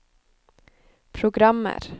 programmer